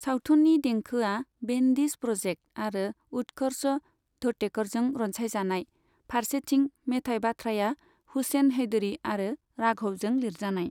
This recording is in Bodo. सावथुननि देंखोआ बेनदिस प्रजेक्त आरो उत्कर्ष धोतेकरजों रनसायजानाय, फारसेथिं मेथाइ बाथ्राया हुसेन हेदरि आरो राघवजों लिरजानाय।